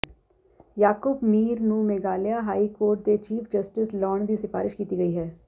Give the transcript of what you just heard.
ਯਾਕੂਬ ਮੀਰ ਨੂੰ Meghalaya high court ਦੇ chief justice ਲਾਉਣ ਦੀ ਸਿਫ਼ਾਰਸ਼ ਕੀਤੀ ਗਈ ਹੈ